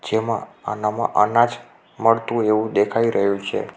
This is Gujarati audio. જેમાં આનામાં અનાજ મળતું હોય એવું દેખાઈ રહ્યું છે.